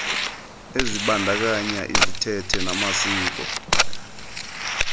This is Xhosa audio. ezibandakanya izithethe namasiko